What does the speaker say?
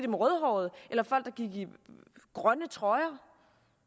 var rødhårede eller folk der gik i grønne trøjer